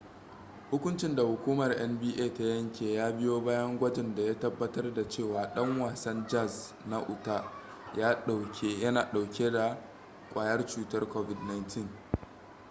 hukuncin da hukumar nba ta yanke ya biyo bayan gwajin da ya tabbatar da cewa dan wasan jazz na utah na dauke da kwayar cutar covid-19